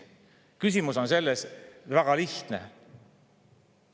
Küsimus on väga lihtne.